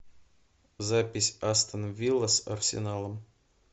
запись астон вилла с арсеналом